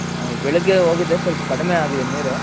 ಬೆಳಿಗ್ಗೆ ಹೋಗಿದ್ದೆ ಸ್ವಲ್ಪ ಕಡ್ಮೆ ಆಗಿದೆ ನೀರು